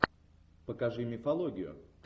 покажи мифологию